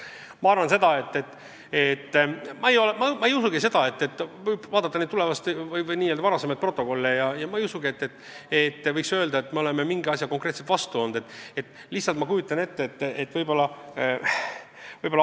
Ma ei usu tegelikult, et vaadates varasemaid protokolle võiks öelda, et me olime sellesisulisele eelnõule konkreetselt vastu.